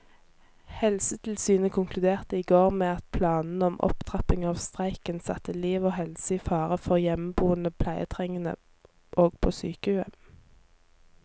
Helsetilsynet konkluderte i går med at planene om opptrapping av streiken satte liv og helse i fare for hjemmeboende pleietrengende og på sykehjem.